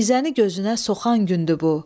Nizəni gözünə soxan gündür bu.